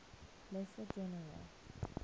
lesser general